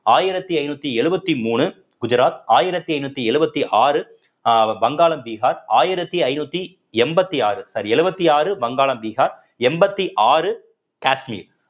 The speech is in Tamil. ஆயிரத்தி ஐந்நூத்தி எழுவத்தி மூணு குஜராத் ஆயிரத்தி ஐந்நூத்தி எழுவத்தி ஆறு அஹ் வங்காளம் பிஹார் ஆயிரத்தி ஐநூத்தி எண்பத்தி ஆறு sorry எழுவத்தி ஆறு வங்காளம் பிஹார் எண்பத்தி ஆறு காஷ்மீர்